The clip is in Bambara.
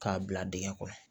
K'a bila dingɛ kɔnɔ